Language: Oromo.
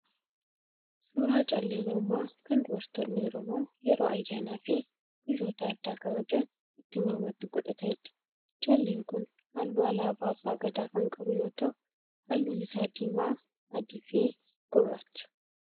Suuraa callee mormaa kan dubartoonni Oromoo yeroo ayyaanaa fi guyyoota addaa kabajan itti mormatti godhataniidha. Calleen kun halluu alaabaa abba Gadaa kan qabu yoo ta'u halluun isaa diimaa, adii fi gurraacha.